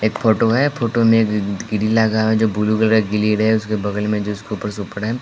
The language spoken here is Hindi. एक फोटो है फोटो में ग्रिल लगा हुआ है जो ब्लू ग्रिल है उसके बगल में जिस के ऊपर --